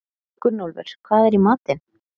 Gunnólfur, hvað er í matinn?